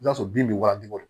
I b'a sɔrɔ bin bɛ waajibi bɔ